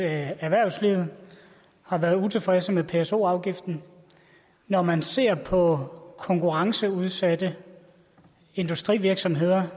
at erhvervslivet har været utilfredse med pso afgiften når man ser på konkurrenceudsatte industrivirksomheder